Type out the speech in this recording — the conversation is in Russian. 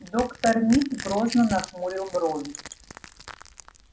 доктор мид грозно нахмурил брови